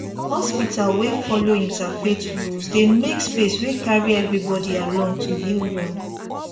hospital wey follow interfaith rules dey make space wey carry everybody along to heal well